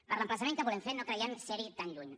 per l’emplaçament que volem fer no creiem ser hi tan lluny